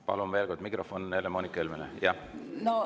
Palun veel kord, mikrofon Helle-Moonika Helmele!